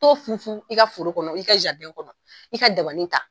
T'o funfun i ka foro kɔnɔ, i ka jaridɛn kɔnɔ i ka dabani ta.